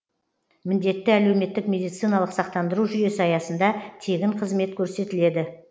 міндетті әлеуметтік медициналық сақтандыру жүйесі аясында тегін қызмет көрсетіледі